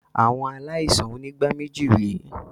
Àwọn aláìsàn onígbáméjì re